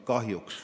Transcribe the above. Aitäh!